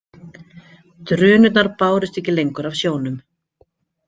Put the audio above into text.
Drunurnar bárust ekki lengur af sjónum.